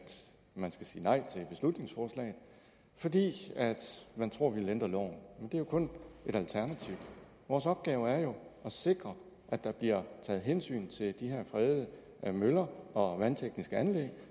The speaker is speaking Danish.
man skal sige nej til beslutningsforslaget fordi man tror at vi vil ændre loven men er jo kun et alternativ vores opgave er jo at sikre at der bliver taget hensyn til de her fredede møller og vandtekniske anlæg